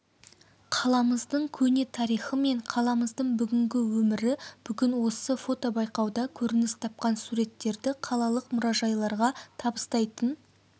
қаламыздың көне тарихы мен қаламыздың бүгінгі өмірі бүгін осы фотобайқауда көрініс тапқан суреттерді қалалық мұражайларға табыстайтын